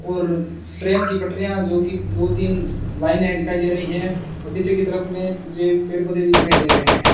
और ट्रेन की पटरियां जो कि दो तीन लाइने दिखाई दे रही है और पीछे की तरफ में मुझे पेड़ पौधे भी दिखाई दे रहे हैं।